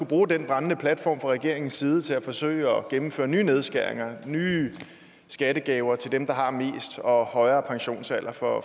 bruge den brændende platform fra regeringens side til at forsøge at gennemføre nye nedskæringer og nye skattegaver til dem der har mest og højere pensionsalder for